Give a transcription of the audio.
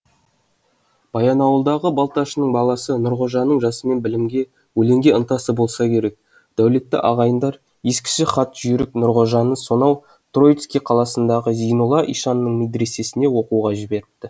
баянауылдағы балташының баласы нұрғожаның жасынан білімге өлеңге ынтасы болса керек дәулетті ағайындар ескіше хатқа жүйрік нұрғожаны сонау троицкий қаласындағы зейнолла ишанның медресесіне оқуға жіберіпті